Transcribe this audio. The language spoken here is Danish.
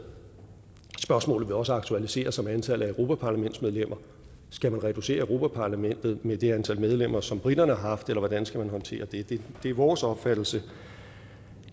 spørgsmålet vil også aktualisere sig med antallet af europaparlamentsmedlemmer skal man reducere europa parlamentet med det antal medlemmer som briterne har haft eller hvordan skal man håndtere det det er vores opfattelse